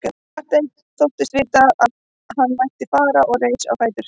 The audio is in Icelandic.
Marteinn þóttist vita að hann ætti að fara og reis á fætur.